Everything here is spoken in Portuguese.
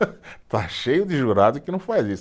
Está cheio de jurado que não faz isso.